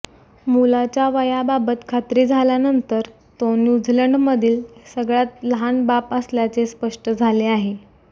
मुलाच्या वयाबाबत खात्री झाल्यानंतर तो न्यूझीलँडमधील सगळ्यात लहान बाप असल्याचे स्पष्ट झाले आहे